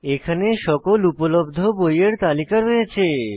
এখানে সকল উপলব্ধ বইয়ের তালিকা রয়েছে